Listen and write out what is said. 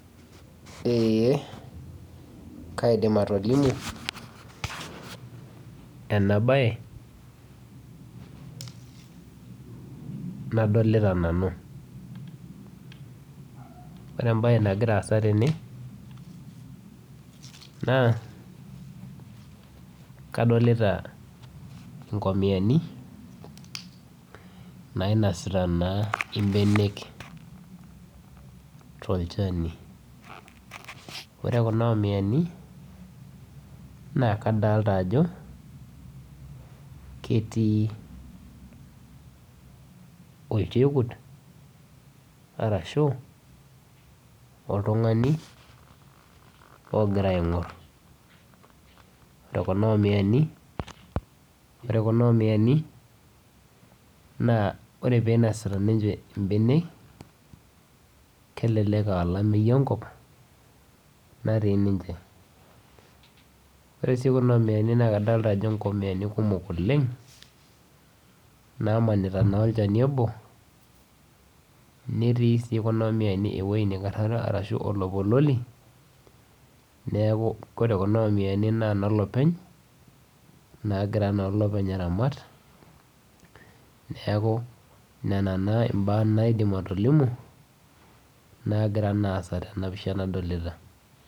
Eeh kaidiim atolimu ena baye nadolita nanu. Ore ebaye nagira aasa tene naa kadolita nkomiani nainosita naa ebeenek to ilchaani. Ore kuna omiani naa kadolita ajoo ketii olcheekut arashu oltung'ani ogira aing'or. Ore kuna omiani, ore kuna omiani naa ore pee inosita ninchee beene kelelek aa laimeiye nkop natii ninchee. Ore sii kuna omiani naa kadolita ajoo nkoomiani kumook oleng naamanita naa olchaani oboo, netii sii kuna omiani ewueji naikarara ana oloipololi. Neeku ore kuna omiani naa loopeny' nagira naa loopeny' aramaat. Neeku nena naa ebaya naidiim atodilimu nagira naa aasa tena pishaa nadolita.